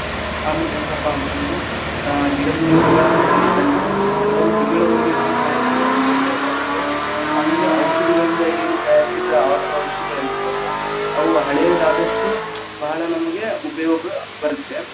ಆಮೇಲೆ ಹೆಂಗಪ್ಪಾ ಅಂತಂದ್ರ ಆ ಗಿಡಮೂಲಿಕೆಗಳನ್ನ ತಂದಿದ್ದನ್ನ ಕೆಲವು ತಿಂಗಳವರೆಗೆ ನಾವು ಸಂಗ್ರಹಿಸಿ, ಹಂಗೆ ಇಡಬೇಕಾಗುತ್ತೆ, ಆಮೇಲೆ ಔಷಧಿಗಳಿಂದ ಏನ್‌ ತಯಾರಿಸಿದ್ದ ಆಸವಾರಿಷ್ಟಗಳಿರ್ತಾವಲ್ಲಾ ಅವು ಹಳೆದಾದಷ್ಟು ಬಹಳ ನಮಗೆ ಉಪಯೋಗ ಬರತ್ತೆ.